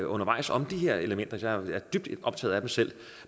undervejs om de her elementer jeg er dybt optaget af dem selv